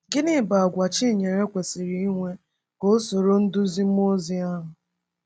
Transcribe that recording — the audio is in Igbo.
Gịnị bụ àgwà Chinyere kwesịrị inwe ka ọ soro nduzi mmụọ ozi ahụ?